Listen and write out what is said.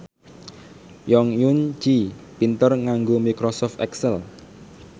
Jong Eun Ji pinter nganggo microsoft excel